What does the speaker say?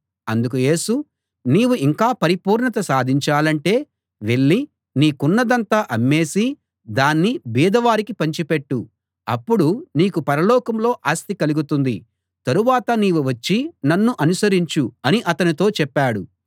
అందుకు యేసు నీవు ఇంకా పరిపూర్ణత సాధించాలంటే వెళ్ళి నీకున్నదంతా అమ్మేసి దాన్ని బీదవారికి పంచిపెట్టు అప్పుడు నీకు పరలోకంలో ఆస్తి కలుగుతుంది తరువాత నీవు వచ్చి నన్ను అనుసరించు అని అతనితో చెప్పాడు